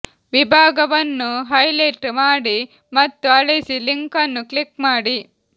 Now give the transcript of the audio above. ವಿಭಾಗವನ್ನು ಹೈಲೈಟ್ ಮಾಡಿ ಮತ್ತು ಅಳಿಸಿ ಲಿಂಕ್ ಅನ್ನು ಕ್ಲಿಕ್ ಮಾಡಿ